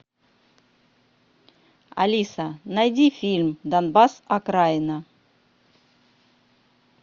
алиса найди фильм донбасс окраина